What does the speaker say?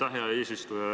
Aitäh, hea eesistuja!